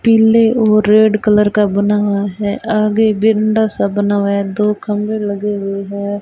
पीले और red colour का बना हुआ है आगे बिंडा सा बना हुआ है दो खंबे लगे हुए हैं।